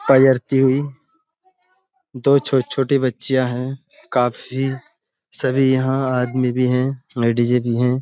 दो छोटी-छोटी बच्चियाँ हैं। काफी सभी यहाँ आदमी भी हैं। लेडीजे भी हैं।